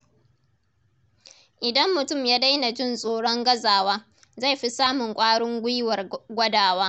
Idan mutum ya daina jin tsoron gazawa, zai fi samun ƙwarin gwiwar gwadawa.